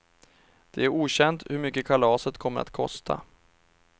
Det är okänt hur mycket kalaset kommer att kosta.